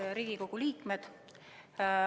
Head Riigikogu liikmed!